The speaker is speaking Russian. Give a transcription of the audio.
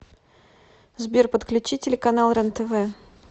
сбер подключи телеканал рен тв